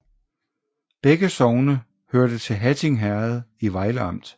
Begge sogne hørte til Hatting Herred i Vejle Amt